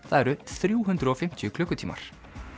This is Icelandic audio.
það eru þrjú hundruð og fimmtíu klukkutímar